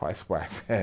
Faz parte.